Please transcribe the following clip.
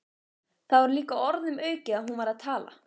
Það var líka orðum aukið að hún væri að tala.